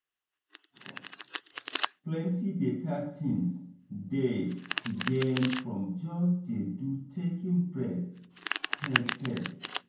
plenty better things dey to gain from just dey do taking break tey tey